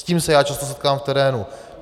S tím se já často setkávám v terénu.